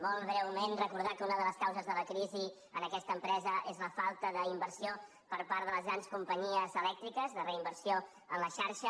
molt breument recordar que una de les causes de la crisi en aquesta empresa és la falta d’inversió per part de les grans companyies elèctriques de reinversió en la xarxa